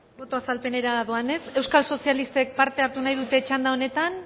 boto azalpenera doanez euskal sozialistek parte hartu nahi dute txanda honetan